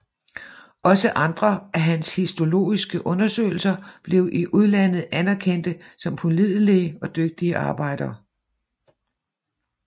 Også andre af hans histologiske undersøgelser blev i udlandet anerkendte som pålidelige og dygtige arbejder